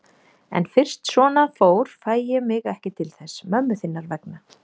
En fyrst svona fór fæ ég mig ekki til þess. mömmu þinnar vegna.